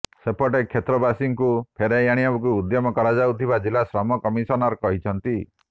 ସେପଟେ କ୍ଷେତ୍ରବାସୀଙ୍କୁ ଫେରାଇ ଆଣିବାକୁ ଉଦ୍ୟମ କରାଯାଉଥିବା ଜିଲ୍ଲା ଶ୍ରମ କମିଶନର କହିଛନ୍ତି